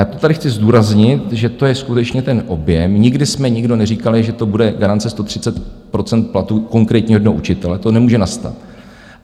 Já to tady chci zdůraznit, že to je skutečně ten objem, nikdy jsme nikdo neříkali, že to bude garance 130 % platu konkrétního jednoho učitele, to nemůže nastat.